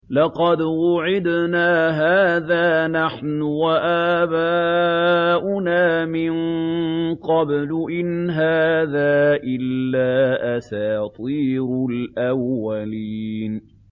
لَقَدْ وُعِدْنَا هَٰذَا نَحْنُ وَآبَاؤُنَا مِن قَبْلُ إِنْ هَٰذَا إِلَّا أَسَاطِيرُ الْأَوَّلِينَ